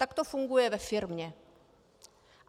Tak to funguje ve firmě.